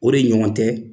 O de ɲɔgɔn tɛ